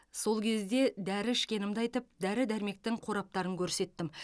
сол кезде дәрі ішкенімді айтып дәрі дәрмектің қораптарын көрсеттім